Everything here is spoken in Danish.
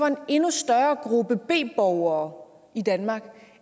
en endnu større gruppe b borgere i danmark